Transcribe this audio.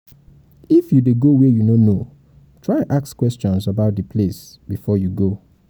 if you de go where you no know try ask questions about di place before you go